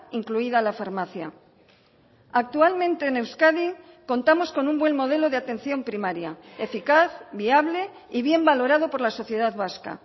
incluida la farmacia actualmente en euskadi contamos con un buen modelo de atención primaria eficaz viable y bien valorado por la sociedad vasca